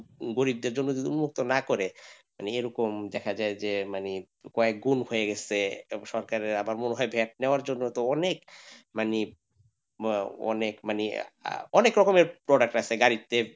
গরিবদের জন্য যদি মুক্ত না করে মানে এরকম দেখা যায় যে মানে কয়েকগুণ হয়ে গেছে এবং সরকারের আবার মনে হয় vat নেওয়া জন্য তো অনেক মানে মানে অনেক মানে আহ অনেক রকমের product আছে গাড়িতে,